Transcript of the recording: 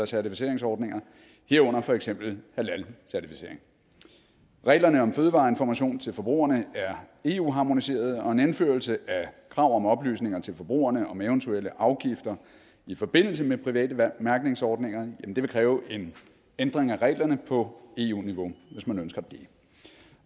certificeringsordninger herunder for eksempel halalcertificering reglerne om fødevareinformation til forbrugerne er eu harmoniserede og en indførelse af krav om oplysninger til forbrugerne om eventuelle afgifter i forbindelse med private mærkningsordninger vil kræve en ændring af reglerne på eu niveau hvis man ønsker det